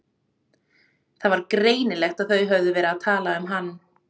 Það var greinilegt að þau höfðu verið að tala um hann.